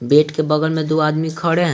Bed के बगल में दो आदमी खड़े हैं।